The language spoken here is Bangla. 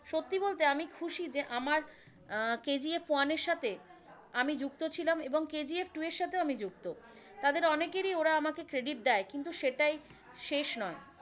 সত্যি বলতে আমি খুশি যে আমার কেজিএফ ওয়ান এর সাথে আমি যুক্ত ছিলাম এবং কেজিএফ টূ এর সাথেও আমি যুক্ত। তাদের অনেকেরই ওরা আমকে credit দেয়, কিন্তু সেটাই শেষ নয়,